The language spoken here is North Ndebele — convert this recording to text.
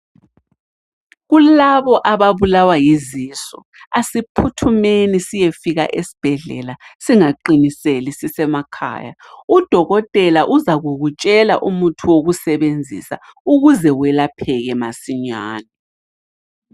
Kulabo ababulawa yizisu, asiphuthumeni siyefika esibhedlela singaqiniseli sisemakhaya. Udokotela uzakukutshela umuthi wokusebenzisa ukuze welapheke masinyane.